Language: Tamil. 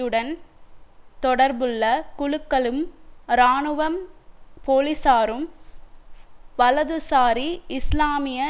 உடன் தொடர்புள்ள குழுக்களும் இராணுவம் போலிசாரும் வலதுசாரி இஸ்லாமிய